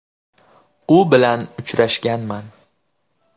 U bilan uchrashganman.